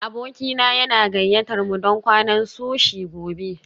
Abokina yana gayyatar mu don kwanan sushi gobe